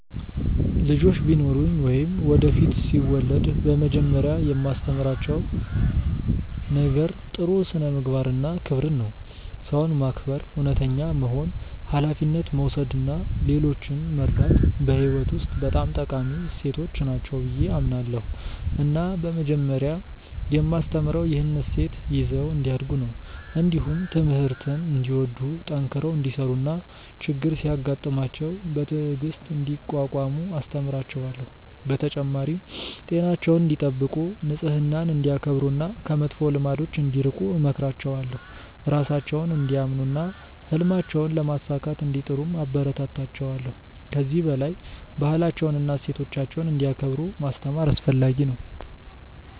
ልጆች ቢኖሩኝ ወይም ወደፊት ሲወለድ በመጀመሪያ የማስተምራቸው ነገር ጥሩ ስነ-ምግባር እና ክብርን ነው። ሰውን ማክበር፣ እውነተኛ መሆን፣ ሀላፊነት መውሰድ እና ሌሎችን መርዳት በሕይወት ውስጥ በጣም ጠቃሚ እሴቶች ናቸው ብዬ አምናለሁ እና በመጀመሪያ የማስተምረው ይህንን እሴት ይዘው እንዲያድጉ ነው። እንዲሁም ትምህርትን እንዲወዱ፣ ጠንክረው እንዲሠሩ እና ችግር ሲያጋጥማቸው በትዕግሥት እንዲቋቋሙ አስተምራቸዋለሁ። በተጨማሪም ጤናቸውን እንዲጠብቁ፣ ንጽህናን እንዲያከብሩ እና ከመጥፎ ልማዶች እንዲርቁ እመክራቸዋለሁ። ራሳቸውን እንዲያምኑ እና ህልማቸውን ለማሳካት እንዲጥሩም አበረታታቸዋለሁ። ከዚህ በላይ ባህላቸውንና እሴቶቻቸውን እንዲያከብሩ ማስተማር አስፈለጊ ነው።